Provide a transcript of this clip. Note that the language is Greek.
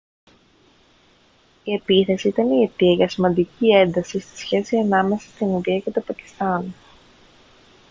η επίθεση ήταν η αιτία για σημαντική ένταση στη σχέση ανάμεσα στην ινδία και το πακιστάν